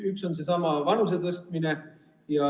Üks on seesama vanusepiiri tõstmine.